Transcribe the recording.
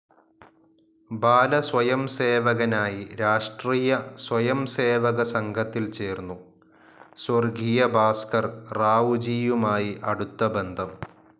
ബാലസ്വയംസേവകനായി രാഷ്ട്രീയ സ്വയം സേവക സംഘത്തിൽ ചേർന്നു, സ്വർഗ്ഗീയ ഭാസ്കർ റാവുജീയുമായി അടുത്ത ബന്ധം.